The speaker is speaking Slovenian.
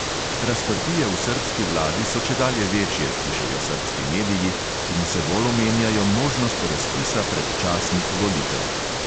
Razprtije v srbski vladi so čedalje večje, pišejo srbski mediji in vse bolj omenjajo možnost razpisa predčasnih volitev.